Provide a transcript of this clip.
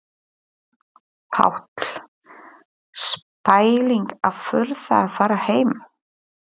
Páll: Spæling að þurfa að fara heim?